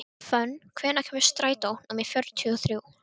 Fönn, hvenær kemur strætó númer fjörutíu og þrjú?